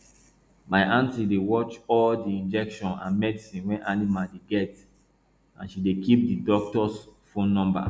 my aunty dey watch all di injection and medicine wey animals dey get and she dey keep di doctors phone numba